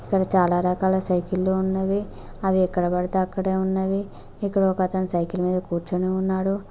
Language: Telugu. ఇక్కడ చాలా రకాల సైకిల్ లో ఉన్నవి అవి ఎక్కడపడితే అక్కడే ఉన్నవి ఇక్కడ ఒకతను సైకిల్ మీద కూర్చుని ఉన్నాడు